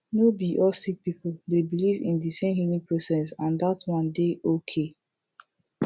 no be all sik pipul dey biliv in di sem healing process and dat one dey okay